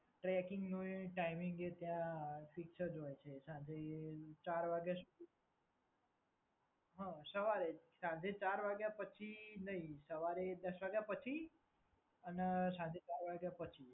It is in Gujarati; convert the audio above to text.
ટ્રેકીંગનો એ ટાઈમિંગ જે ત્યાં ફિક્સ જ હોય છે. સાંજે ચાર વાગ્યા સુધી. હા, સવારે. સાંજે ચાર વાગ્યા પછી નહીં. સવારે દસ વાગ્યા પછી અને સાંજે ચાર વાગ્યા પછી.